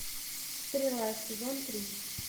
стрела сезон три